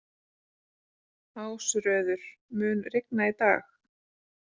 Ásröður, mun rigna í dag?